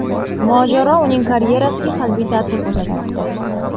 Mojaro uning karyerasiga salbiy ta’sir ko‘rsatmoqda.